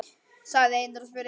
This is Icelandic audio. sagði Einar og spurði.